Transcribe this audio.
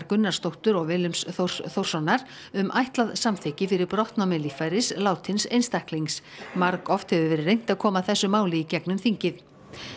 Gunnarsdóttur og Willums Þórs Þórssonar um ætlað samþykki fyrir brottnámi líffæris látins einstaklings margoft hefur verið reynt að koma þessu máli í gegnum þingið